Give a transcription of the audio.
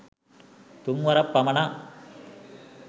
තුන් වරක් පමණක්